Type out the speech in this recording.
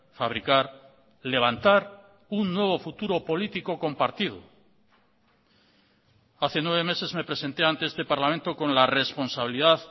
fabricar levantar un nuevo futuro político compartido hace nueve meses me presente ante este parlamento con la responsabilidad